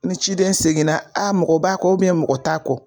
Ni ciden seginna a mɔgɔ b'a kɔ mɔgɔ t'a kɔ.